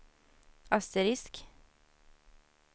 asterisk